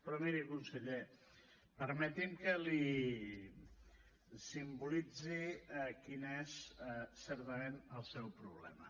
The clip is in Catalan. però miri conseller permeti’m que li simbolitzi quin és certament el seu problema